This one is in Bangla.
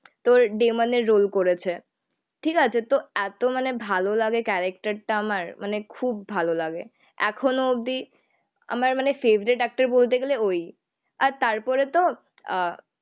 তো ডিমনের রোল করেছে. ঠিক আছে তো এত মানে ভালো লাগে ক্যারেকটার টা আমার মানে খুব ভালো লাগে. এখনো অব্দি আমার মানে ফেবারিট এক্টর বলতে গেলে ওই. আর তারপরে তো আহ